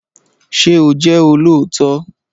Ṣé o jẹ́ olóòótọ́?